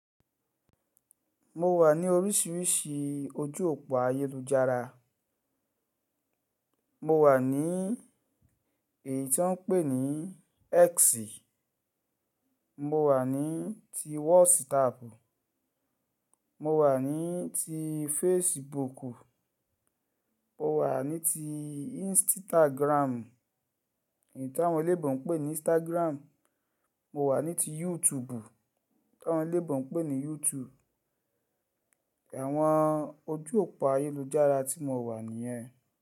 Mo wà ní oríṣiríṣi ojú òpó ayélujára. Mo wà ní èyí tí wọ́n ń pè ní X. Mo wà ní ti WhatsApp. Mo wà ní ti Facebook. Mo wà ní ti Instagram, èyí tí àwọn eléèbó ń pè ní Instagram. Mo wà ní ti YouTube, tí àwọn eléèbó ń pè ní YouTube. Àwọn ojú òpó ayélujára tí mo wà nìyẹn.